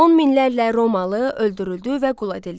On minlərlə Romalı öldürüldü və qul edildi.